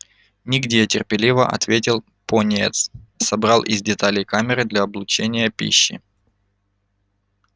нигде терпеливо ответил пониетс собрал из деталей камеры для облучения пищи